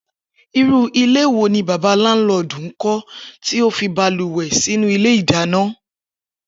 Irú ilé wo ni bàbá láńlo̩ò̩dù ń kó̩ tí ó fi balùwè̩ sínú ilé ìdáná